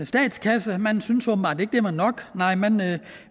statskasse man syntes åbenbart ikke det var nok nej man